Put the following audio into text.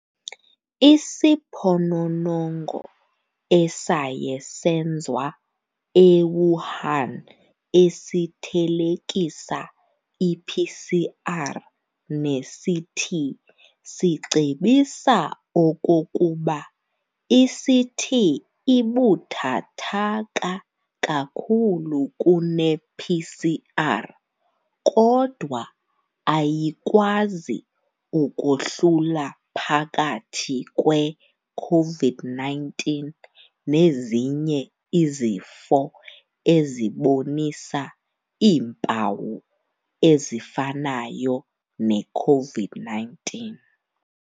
Isiphononongo esaye senzwa eWuhan esithelekisa iPCR neCT sicebisa okokuba iCT ibuthathaka kakhulu kunePCR kodwa ayikwazi ukohlula phakathi kwe Covid-19 nezinye izifo ezibonisa iimpawu ezifanayo neCovid-19.